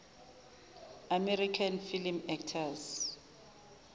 american film actors